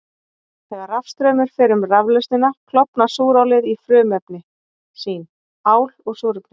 Þegar rafstraumur fer um raflausnina klofnar súrálið í frumefni sín, ál og súrefni.